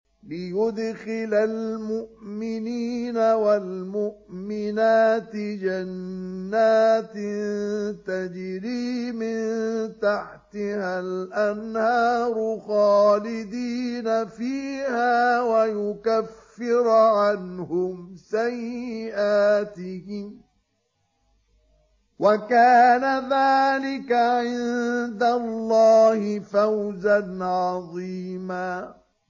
لِّيُدْخِلَ الْمُؤْمِنِينَ وَالْمُؤْمِنَاتِ جَنَّاتٍ تَجْرِي مِن تَحْتِهَا الْأَنْهَارُ خَالِدِينَ فِيهَا وَيُكَفِّرَ عَنْهُمْ سَيِّئَاتِهِمْ ۚ وَكَانَ ذَٰلِكَ عِندَ اللَّهِ فَوْزًا عَظِيمًا